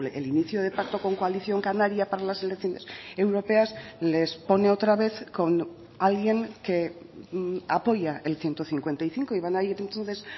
el inicio de pacto con coalición canaria para las elecciones europeas les pone otra vez con alguien que apoya el ciento cincuenta y cinco y van a ir entonces